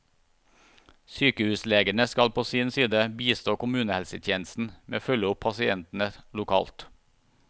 Sykehuslegene skal på sin side bistå kommunehelsetjenesten med å følge opp pasientene lokalt.